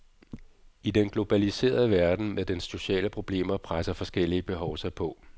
I den globaliserede verden med dens sociale problemer presser forskellige behov sig på.